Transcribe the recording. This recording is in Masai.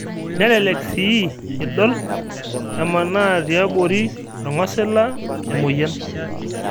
Nelelek sii indol emanaa tiambori ongosila emoyian